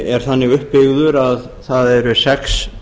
er þannig uppbyggður að það eru sex